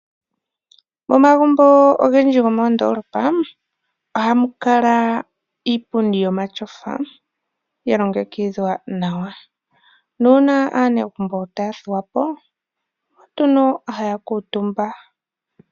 Momagumbo ogendji gomoondolopa ohamu kala iipundi yomatyofa yalongekidhwa nawa. Uuna aanegumbo taya thuwa po oko haya kuutumba.